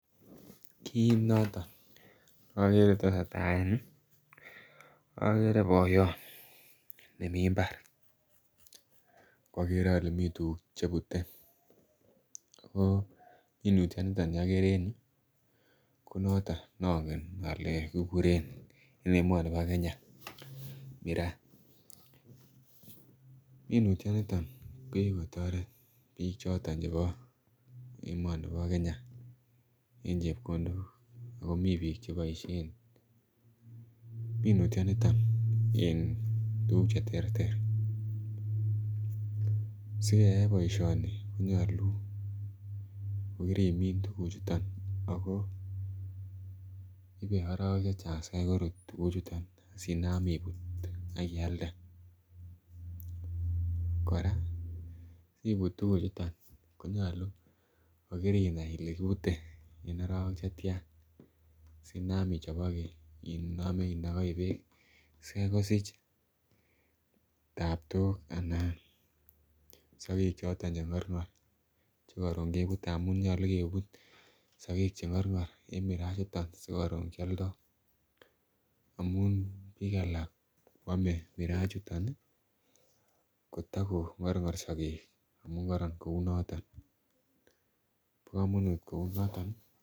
Kit noton ne okere kotesetai en yuu okere boyot nemii imbar akwokere ole mii tukuk chebute ako minutyo niton nii okere en yuu ko noton nongen ole kikuren en emoni bo Kenya miraa. Minutyoniton ko kikotoret bik choton chebo emoni bo Kenya en chepkondok ako mii bik cheboishen minutyoniton en tukuk cheterter. Sikeyai boishoni ko nyolu ko kirimin tukuchuton ako ibee orowek chechang sikai korut tukuk chuton sinam iput ak ialde, Koraa siput tukuchuton konyolu ko kirinai Ile kipute en orowek chetyan sinam ichoboke inome inokoi beek sikai kosich taptok anan sokek choton chengorgor chekorun kebute amun nyolu kebut sokek chengorgor en miraa chuton sikorun kioldo amun bik alak kwome miraa ichuton nii kotokongorgor sokek amun koron kou noton, bo komonut kou noton nii.